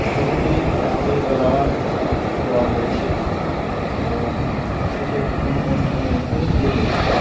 ছবিটি রাতের বেলায় তোলা হয়েছে এবং সেটি একটি কোন অনুষ্ঠানের মধ্যে দিয়ে হয়েছে।